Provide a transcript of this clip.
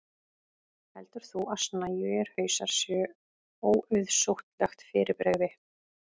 heldur þú að snæugir hausar séu óauðsóttlegt fyrirbrigði